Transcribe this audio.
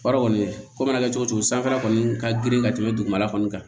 Baara kɔni ko mana kɛ cogo cogo sanfɛla kɔni ka girin ka tɛmɛ dugumala kɔni kan